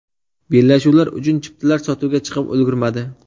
Bellashuvlar uchun chiptalar sotuvga chiqib ulgurmadi.